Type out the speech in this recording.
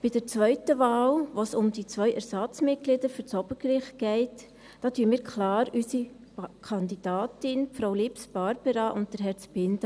Bei der zweiten Wahl, bei der es um die zwei Ersatzmitglieder des Obergerichts geht, unterstützen wir klar unsere Kandidatin, Frau Lips Barbara, und Herrn Zbinden.